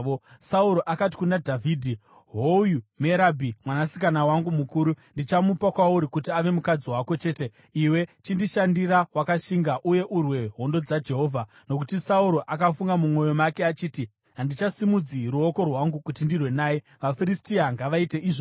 Sauro akati kuna Dhavhidhi, “Hoyu Merabhi mwanasikana wangu mukuru. Ndichamupa kwauri kuti ave mukadzi wako; chete iwe chindishandira wakashinga uye urwe hondo dzaJehovha.” Nokuti Sauro akafunga mumwoyo make achiti, “Handichasimudzi ruoko rwangu kuti ndirwe naye. VaFiristia ngavaite izvozvo!”